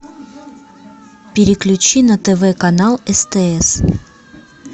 переключи на тв канал стс